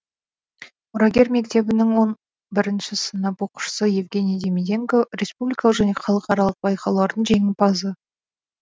мұрагер мектебінің он бірінші сынып оқушысы евгений демиденко республикалық және халықаралық байқаулардың жеңімпазы